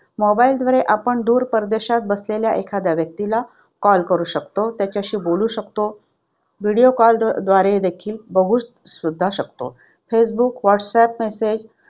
Mobile वर आपण दूर परदेशात बसलेल्या एखाद्या व्यक्तीला call करू शकतो. त्याच्याशी बोलू शकतो. Video call व्हिडिओ कॉल द्वारे व्यवस्थित बघून सुद्धा शकतो. Facebook, WhatsApp